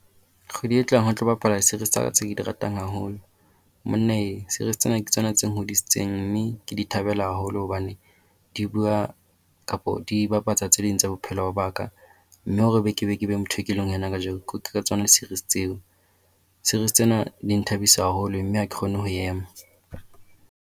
Kgwedi e tlang ho tlo bapala series tsa ka tseo ke di ratang haholo. Monna ye, series tsena ke tsona tse nkgodsitseng, mme ke di thabela haholo hobane di bua kapa di bapatsa tse ding tsa bophelo ba ka. Mme hore kebe ke be motho eo ke leng ho yena kajeno ke hotse ka tsona series tseo. Series tsena di nthabisa haholo, mme ha ke kgone ho ema.